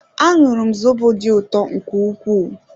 Añụrum zobo dị ụtọ nke ukwuu